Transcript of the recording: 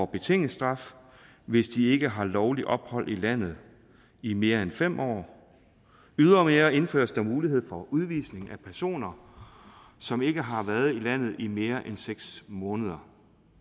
betinget straf hvis de ikke har haft lovligt ophold i landet i mere end fem år ydermere indføres der mulighed for udvisning af personer som ikke har været i landet i mere end seks måneder